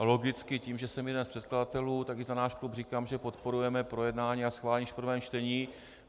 A logicky tím, že jsem jeden z předkladatelů, tak i za náš klub říkám, že podporujeme projednání a schválení v prvém čtení.